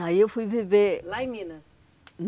Aí eu fui viver... Lá em Minas?